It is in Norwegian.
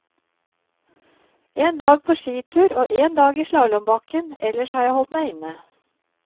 En dag på skitur og en dag i slalåmbakken, ellers har jeg holdt meg inne.